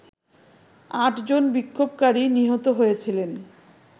আটজন বিক্ষোভকারী নিহত হয়েছিলেন